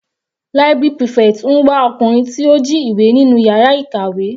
Library prefect ń wá ọkùnrin tí ó jí ìwé nínú yàrá ìkàwé.